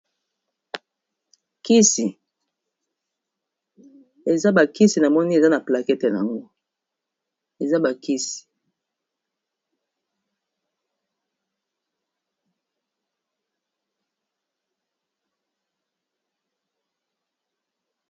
Kisi eza bakisi na moni eza na plakete yango.